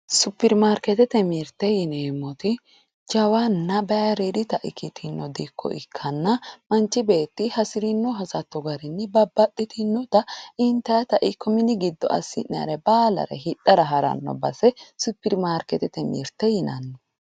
Supperimarkeetete mirte yineemmoti jawanna bayiriidita ikkitino dikko ikkanna manchi beetti hasirino hasatto garinni babbaxxitinota intayita ikko mini giddo assi'nayere baalare hidhara haranno base supperimarkeetete mirte yinanni.